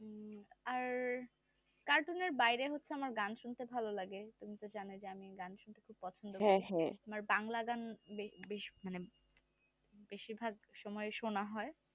cartoon নের বাহিরে হচ্ছে আমার গান শুনতে ভালো লাগে তুমি তো জানোই যে আমি গান শুনতে পছন্দ করি। আমার বাংলা গান বেশ মানে বেশির ভাগ সময় সোনা হয়